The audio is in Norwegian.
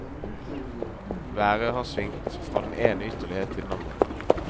Været har svingt fra den ene ytterlighet til den andre.